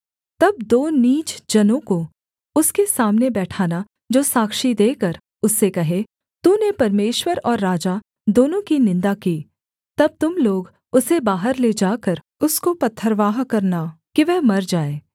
तब दो नीच जनों को उसके सामने बैठाना जो साक्षी देकर उससे कहें तूने परमेश्वर और राजा दोनों की निन्दा की तब तुम लोग उसे बाहर ले जाकर उसको पथरवाह करना कि वह मर जाए